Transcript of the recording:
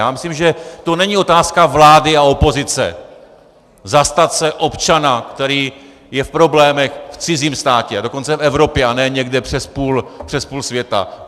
Já myslím, že to není otázka vlády a opozice, zastat se občana, který je v problémech v cizím státě, a dokonce v Evropě a ne někde přes půl světa.